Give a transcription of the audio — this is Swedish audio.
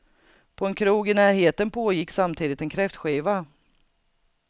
På en krog i närheten pågick samtidigt en kräftskiva.